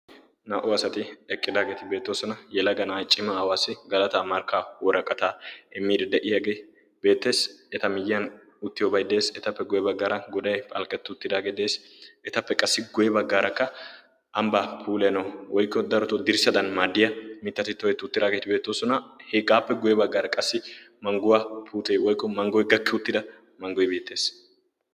Naa"u asati eqqidaageeti beettoosona yelaga na'ay cima aawaassi galataa markka woraqataa emir de'iyaagee beettees eta miyyiyan uttiyo baiddees etappe guye baggaara godai phalkketuuttidaagee dees etappe qassi guye baggaarakka ambbaa puleno oikko daroto dirssadan maaddiya mittati toketi uttidaageeti beettoosona hegaappe guye baggaara qassi mangguwaa putee oiko manggoi gakki uttida manggoi beettees.